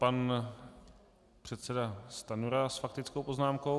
Pan předseda Stanjura s faktickou poznámkou.